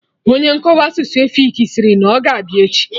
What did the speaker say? Onye nkọwa asụsụ efik sịrị na ọ ga-abịa echi